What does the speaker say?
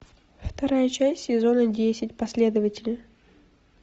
вторая часть сезона десять последователи